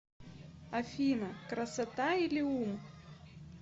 афина красота или ум